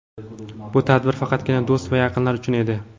Bu tadbir faqatgina do‘st va yaqinlar uchun edi.